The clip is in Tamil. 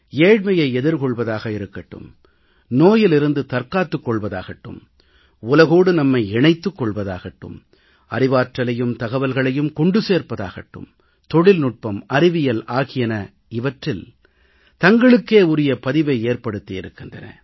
ஏழ்மையை எதிர்கொள்வதாக இருக்கட்டும் நோயிலிருந்து தற்காத்துக்கொள்வதாகட்டும் உலகோடு நம்மை இணைத்துக் கொள்வதாகட்டும் அறிவாற்றலையும் தகவல்களையும் கொண்டு சேர்ப்பதாகட்டும் தொழில்நுட்பம் அறிவியல் ஆகியன இவற்றில் தங்களுக்கே உரிய பதிவை ஏற்படுத்தியிருக்கின்றன